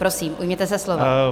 Prosím, ujměte se slova.